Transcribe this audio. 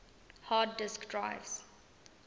hard disk drives